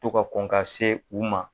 To ka kɔn ka se u ma